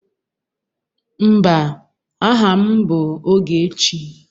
Mba, aha m bụ Ogechi